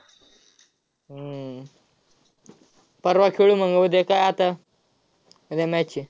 हम्म परवा खेळू मग. उद्या काय आता, उद्या match आहे.